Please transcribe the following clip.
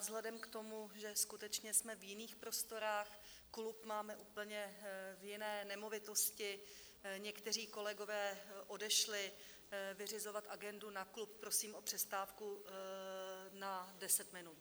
Vzhledem k tomu, že skutečně jsme v jiných prostorách, klub máme úplně v jiné nemovitosti, někteří kolegové odešli vyřizovat agendu na klub, prosím o přestávku na 10 minut.